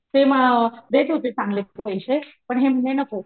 ते मग देत होते चांगलेच पैशे पण हे म्हणले नको